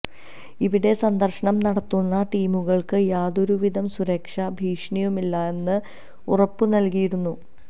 ഇവിടെ സന്ദർശനം നടത്തുന്ന ടീമുകൾക്ക് യാതൊരുവിധ സുരക്ഷാ ഭീഷണിയുമില്ലെന്നും ഉറപ്പുനൽകിയിരുന്നു